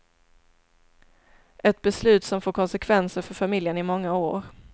Ett beslut som får konsekvenser för familjen i många år.